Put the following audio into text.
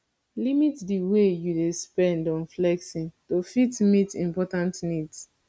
limit di way wey you dey spend on flexing to fit meet important needs